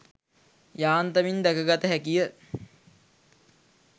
යාන්තමින් දැක ගත හැකි ය.